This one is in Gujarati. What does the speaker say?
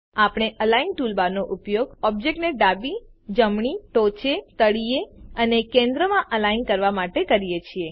આપણે અલિગ્ન ટૂલબાર નો ઉપયોગ ઓબ્જેક્ટને ડાબી જમણી ટોચે તળિયે અને કેન્દ્ર માં અલિગ્ન કરવા માટે કરીએ છીએ